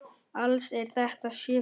Alls eru þetta sjö félög.